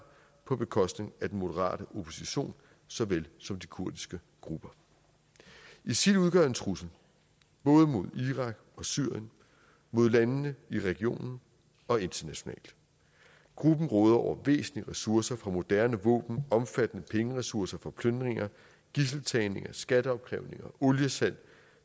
på bekostning af den moderate opposition såvel som de kurdiske grupper isil udgør en trussel både mod irak og syrien mod landene i regionen og internationalt gruppen råder over væsentlige ressourcer fra moderne våben omfattende pengeressourcer fra plyndringer gidseltagninger skatteopkrævninger oliesalg